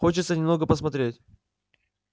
хочется немного посмотреть